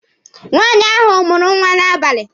Nwaanyị ahụ mụrụ nwa n'abali.